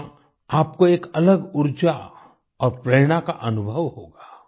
यहाँ आपको एक अलग ऊर्जा और प्रेरणा का अनुभव होगा